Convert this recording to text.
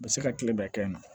U bɛ se ka tile bɛɛ kɛ n na